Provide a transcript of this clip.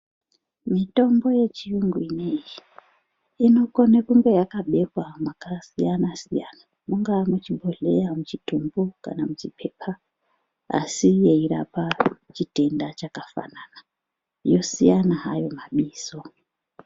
Mitombo yechiyungu ineyi, inokone kunge yakabekwa makasiyana-siyana. Mungaa muchibhodhleya, muchitumbu kana muchipepa asi yeirapa chitenda chakafanana, yosiyana hayo mabizo.